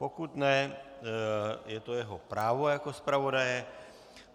Pokud ne, je to jeho právo jako zpravodaje.